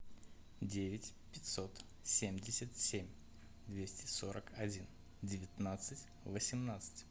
девять пятьсот семьдесят семь двести сорок один девятнадцать восемнадцать